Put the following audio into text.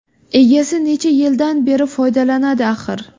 Egasi necha yildan beri foydalanadi axir.